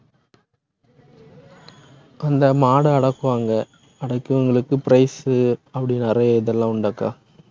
அந்த மாட அடக்குவாங்க, அடக்கியவங்களுக்கு prize உ அப்படி நிறைய இதெல்லாம் உண்டக்கா